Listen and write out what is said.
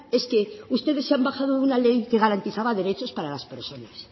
es que ustedes se han bajado de una ley que garantizaba derechos para las personas